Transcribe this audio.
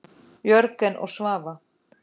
Jörgen og Svava.